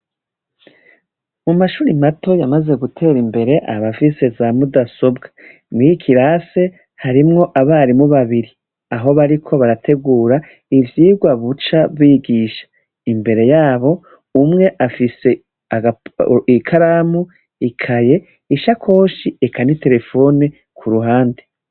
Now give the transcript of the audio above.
Mu mashure mato yamaze gutera imbere aba afise za mudasobwa, muri iki kirasi harimwo abarimu babiri aho bariko barategura ivyigwa buca bigisha. Imbere yabo umwe afise ikaramu, ikaye, ishakoshi eka n'iterefone ku ruhande.